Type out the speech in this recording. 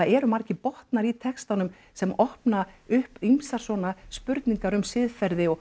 eru margir botnar í textanum sem opna upp ýmsar svona spurningar um siðferði og